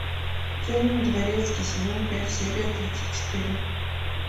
темный дворецкий сезон пять серия тридцать четыре